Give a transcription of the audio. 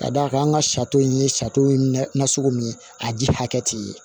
Ka d'a kan an ka sarito in ye sato ye nasugu min ye a ji hakɛ tɛ ye